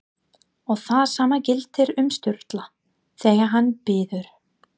Og það sama gildir um Sturlu, þegar hann biður